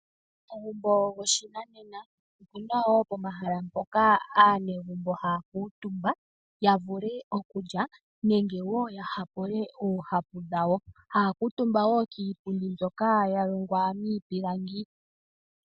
Omagumbo go shinanena, opuna woo omahala mpoka aanegumbo haya kala omutumba ya vule okulya nenge woo ya hapule oohapu dhowo. Haya kala omutumba kiipundi mbyoka ya longwa miipilangi.